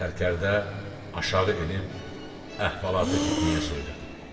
Sərkərdə aşağı enib əhvalatı fitnəyə söylədi.